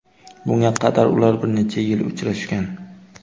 Bunga qadar ular bir necha yil uchrashgan.